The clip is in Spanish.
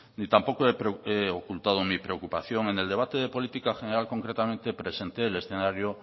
ni tampoco he ocultado mi preocupación en el debate de política general concretamente presenté el escenario